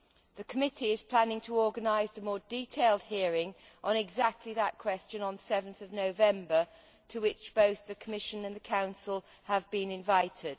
The committee is planning to organise a more detailed hearing on exactly that question on 7 November, to which both the Commission and the Council have been invited.